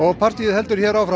partýið heldur hér áfram